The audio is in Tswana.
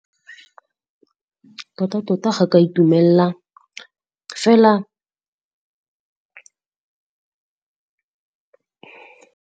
Tota-tota ga ka itumella fela.